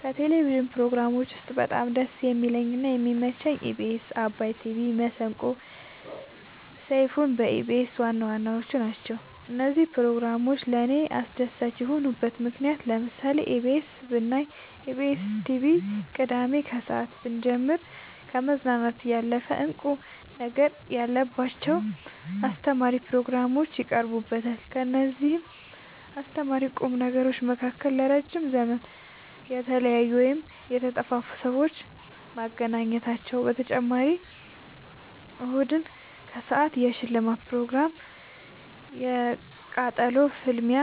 ከቴሌቭዥን ፕሮግራሞች ውስጥ በጣም ደስ የሚለኝ እና የሚመቸኝ ኢቢኤስ አባይ ቲቪ መሰንቆ ሰይፋን በኢቢኤስ ዋናዋናዎቹ ናቸው። እነዚህ ፕሮግራሞች ለእኔ አስደሳች የሆኑበት ምክንያት ለምሳሌ ኢቢኤስ ብናይ ኢቢኤስን ቲቪ ቅዳሜ ከሰአት ብንጀምር ከመዝናናት ያለፈ እንቁ ነገር ያለባቸው አስተማሪ ፕሮግራሞች ይቀርቡበታል ከእነዚህም አስተማሪና ቁም ነገሮች መካከል ለረዥም ዘመን የተለያዩን ወይም የተጠፋፉትን ሰዎች ማገናኘታቸው በተጨማሪም እሁድን ከሰአት የሽልማት ፕሮግራም የቃጠሎ ፍልሚያ